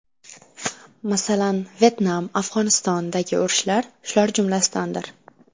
Masalan, Vyetnam, Afg‘onistondagi urushlar shular jumlasidandir.